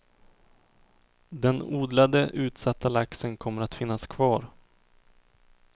Den odlade, utsatta laxen kommer att finnas kvar.